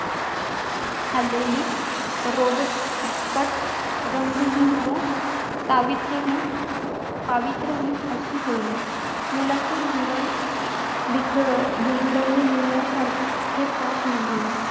खाल्लेली. रोगट, फिक्कट, रंगहीन व पावित्र्यहीन पावित्र्यहीन अशी होइल. मुलांचे जीवन बिघ बिघडविणे यासारखे पाप नाही.